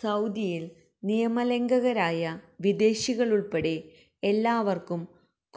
സൌദിയില് നിയമലംഘകരായ വിദേശികള്ക്കുള്പ്പെടെ എല്ലാവര്ക്കും